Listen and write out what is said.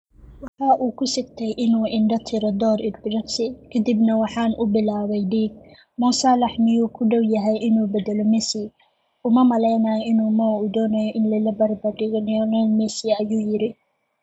Waxa uu ku sigtay in uu i indho-tiro dhowr ilbiriqsi, ka dibna waxaan bilaabay dhiig. Mo Salah miyuu ku dhow yahay inuu beddelo Messi? Uma maleynayo in Mo uu doonayo in lala barbardhigo Lionel Messi," ayuu yiri.